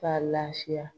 K'a lafiya